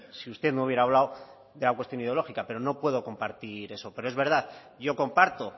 si usted no hubiera hablado de la cuestión ideológica pero no puedo compartir eso pero es verdad yo comparto